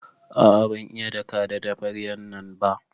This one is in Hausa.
A'a ban iya daka da tabaryan nan ba.